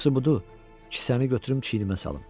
Yaxşısı budur, kisəni götürüb çiynimə salım.